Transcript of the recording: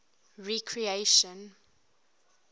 recreation